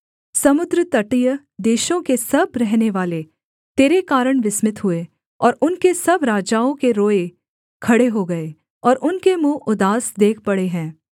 समुद्रतटीय देशों के सब रहनेवाले तेरे कारण विस्मित हुए और उनके सब राजाओं के रोएँ खड़े हो गए और उनके मुँह उदास देख पड़े हैं